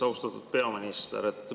Austatud peaminister!